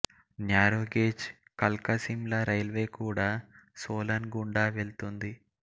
narrow gauge Kalka Shimla railway కూడా సోలన్ గుండా వెళుతుంది